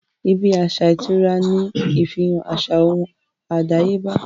ibí aṣa ìtura ní ìfihàn àṣà ohùn àdáyébá